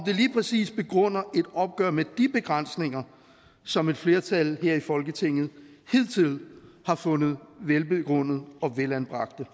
det lige præcis begrunder et opgør med de begrænsninger som et flertal her i folketinget hidtil har fundet velbegrundede og velanbragte